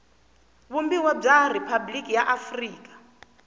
vumbiwa bya riphabliki ra afrika